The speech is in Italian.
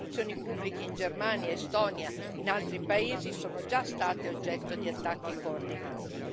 Le istituzioni pubbliche, in Germania, Estonia, e in altri paesi sono già state oggetto di attacchi coordinati.